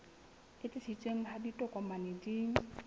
e tiiseditsweng ha ditokomane di